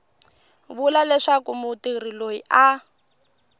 vula leswaku mutirhi loyi a